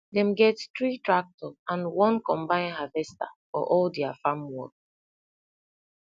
dem get three tractor and one combine harvester for all dia farm work